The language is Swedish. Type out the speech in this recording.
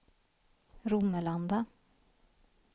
Romelanda